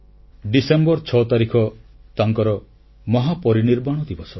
December 6 ତାରିଖ ତାଙ୍କର ମହାପରିନିର୍ବାଣ ଦିବସ